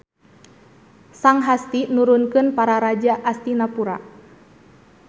Sang Hasti nurunkeun Para Raja Astinapura.